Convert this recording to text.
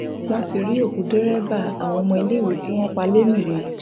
wọn ti rí òkú dẹrẹbà àwọn ọmọ iléiwé tí wọn pa lèmùrè